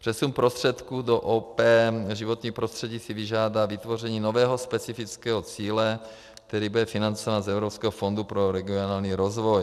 Přesun prostředků do OP Životní prostředí si vyžádá vytvoření nového specifického cíle, který bude financován z Evropského fondu pro regionální rozvoj.